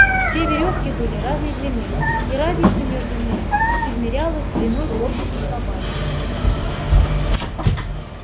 все верёвки были разной длины и разница между ними измерялась длиной корпуса собаки